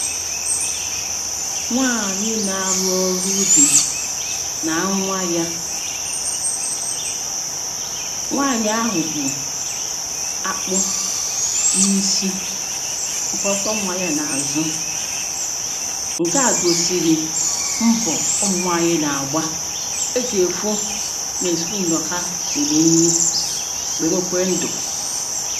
Nwaanyị na-arụ ọrụ ubi na nnwa yà nwaanyị ahụ bụ̀ akpụ na isi ọ kwọkwọ nwa ya na azụ̀ nke a gosisìri mbọ̀ ụmụnwaanyị na-agbà e ji fụ nesundu ọha lili nni gbemekwe ndụ̀